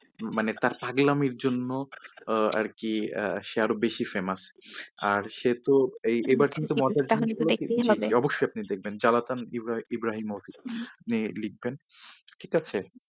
মানে তার পাগলামির জন্য আহ আরকি আহ সে আরো বেশি famous আর সে তো এবার কিন্তু অবশ্যই আপনি দেখবেন। জ্লাতান ইব্রাহিমোভিচ নিয়ে লিখবেন ঠিক আছে।